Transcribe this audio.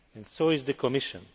So is the Commission.